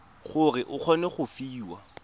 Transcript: gore o kgone go fiwa